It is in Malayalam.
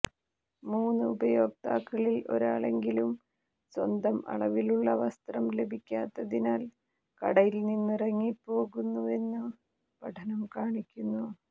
മൂന്ന് ഉപയോക്താക്കളിൽ ഒരാളെങ്കിലും സ്വന്തം അളവിലുള്ള വസ്ത്രം ലഭിക്കാത്തതിനാൽ കടയിൽനിന്നിറങ്ങിപ്പോകുന്നുവെന്ന് പഠനം കാണിക്കുന്നു